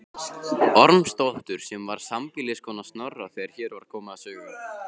Ormsdóttur sem var sambýliskona Snorra þegar hér var komið sögu.